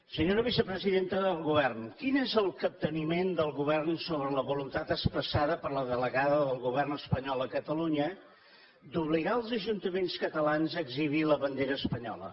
senyora vicepresidenta del govern quin és el capteniment del govern sobre la voluntat expressada per la delegada del govern espanyol a catalunya d’obligar els ajuntaments catalans a exhibir la bandera espanyola